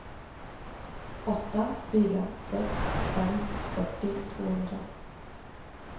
åtta fyra sex fem fyrtio tvåhundra